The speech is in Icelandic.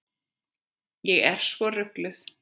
Ég er svo rugluð.